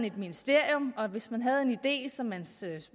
et ministerium og hvis man havde en idé som man